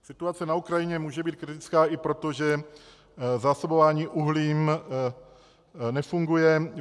Situace na Ukrajině může být kritická i proto, že zásobování uhlím nefunguje.